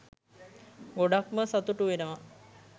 ගොඩක්ම සතුටු වෙනවා.